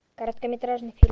короткометражный фильм